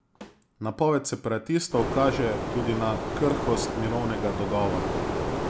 Napoved separatistov kaže tudi na krhkost mirovnega dogovora.